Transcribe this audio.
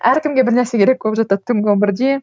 әркімге бір нәрсе керек болып жатады түнгі он бірде